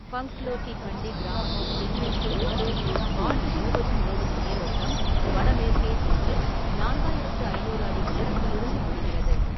பங்ஸ்லோ கி கண்டி கிராமத்தின் தென்மேற்கில் தொடங்கி ஆண்டு முழுவதும் ஓடும் நீரோட்டம், வடமேற்கே சென்று நான்காயிரத்து ஐநூறு அடி உயரத்திலிருந்து விழுகிறது.